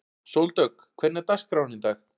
Sóldögg, hvernig er dagskráin í dag?